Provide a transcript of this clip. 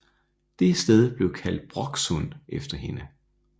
Det sted blev kaldt Bråksund efter hende